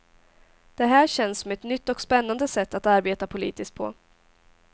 Det här känns som ett nytt och spännande sätt att arbeta politiskt på.